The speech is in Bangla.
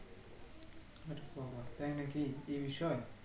তাই নাকি এই বিষয়